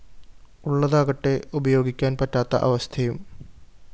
ഉള്ളതാകട്ടെ ഉപയോഗിയ്ക്കാന്‍ പറ്റാത്ത അവസ്ഥയും